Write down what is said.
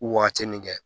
Wagati min kɛ